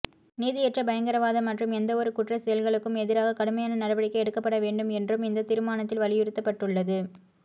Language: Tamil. நீதியற்ற பயங்கரவாத மற்றும் எந்தவொரு குற்றச் செயல்களுக்கும் எதிராக கடுமையான நடவடிக்கை எடுக்கப்பட வேண்டும் என்றும் இந்தத் தீர்மானத்தில் வலியுறுத்தப்பட்டுள்ளது